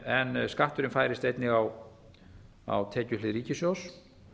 en skatturinn færist einnig á tekjuhlið ríkissjóðs